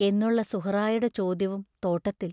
എന്നുള്ള സുഹറായുടെ ചോദ്യവും തോട്ടത്തിൽ!